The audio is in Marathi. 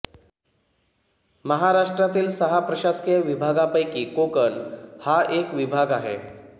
महाराष्ट्रातील सहा प्रशासकीय विभागापैकी कोकण हा एक विभाग आहे